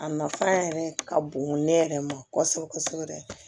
A nafa yɛrɛ ka bon ne yɛrɛ ma kosɛbɛ kosɛbɛ yɛrɛ